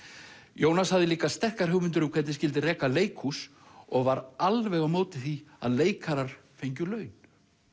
Jónas hafði líka sterkar hugmyndir um hvernig skyldi reka leikhús og var alveg á móti því að leikarar fengju laun